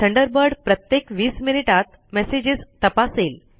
Thunderbird प्रत्येक20 मिनिटात messages तपासेल